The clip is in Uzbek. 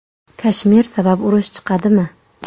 Kashmir sabab urush chiqadimi?